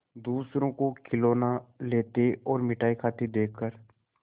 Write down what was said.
दूसरों को खिलौना लेते और मिठाई खाते देखकर